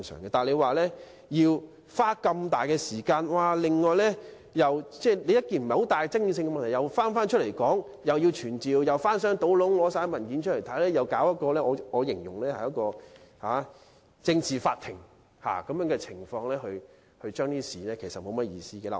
不過，如果要花這麼多時間，把不大具爭議性的問題再次提出來討論，既要傳召證人，又要翻箱倒篋找出相關的文件，並搞一個我形容為政治法庭來進行審議，其實沒有甚麼意思。